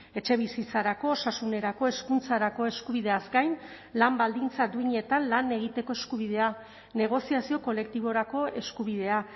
etxebizitzarako osasunerako hezkuntzarako eskubideaz gain lan baldintza duinetan lan egiteko eskubidea negoziazio kolektiborako eskubidea